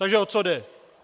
Takže o co jde?